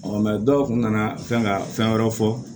dɔw kun nana fɛn ka fɛn wɛrɛ fɔ